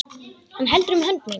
Hann heldur um hönd mína.